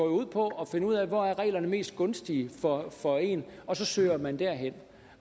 ud på at finde ud af hvor reglerne er mest gunstige for for en og så søger man derhen